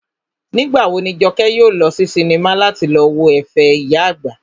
Nígbà wo ni Jọkẹ́ yóò lọ sí sinimá láti lọ wo ẹ̀fẹ̀ ìyá àgbà?